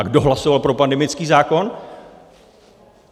A kdo hlasoval pro pandemický zákon?